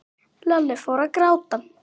Lalli fór að gráta.